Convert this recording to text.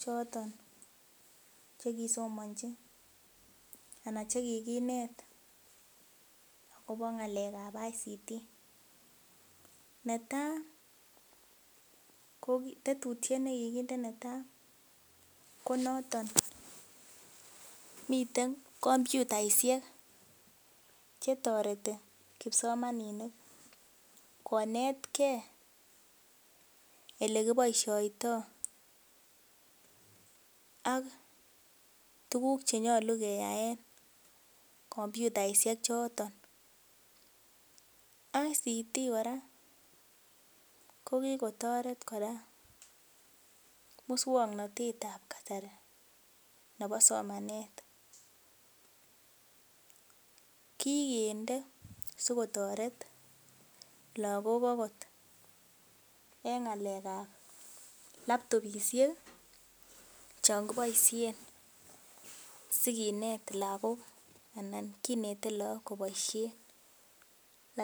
choton chekisomonji ana chekikinet akobo ng'alek ab Information Communication Technology netaa ko tetutyet nekikinde netaa ko noton miten komputaisiek chetoreti kipsomaninik konetgee elekiboisiotoo ak tuguk chenyolu keyaen komputaisiek choton. Information Communication Technology kora kokikotoret kora muswongnotet ab kasari nebo somanet kikinde sikotoret lagok okot en ng'alek ab laptopisiek chon kiboisien sikinet lagok anan kinete look koboisien laptop